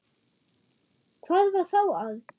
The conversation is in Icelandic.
Hvað var þá að?